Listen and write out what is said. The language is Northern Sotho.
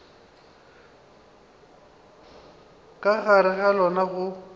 ka gare ga lona go